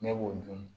Ne b'o dun